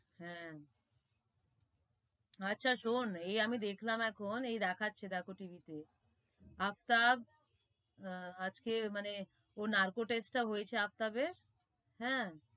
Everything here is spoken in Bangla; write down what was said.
হে, আছে সোন এই আমি দেখলাম এখন, এই দেখাচ্ছে দেখো TV তে, আফতাব আহ আজকে মানে ওর narco test টা হয়েছে আফতাবের, হেঁ,